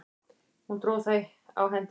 Hún dró það á hendi sér.